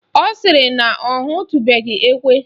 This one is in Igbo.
Ọ sịrị na ọ hụtubeghi ekwe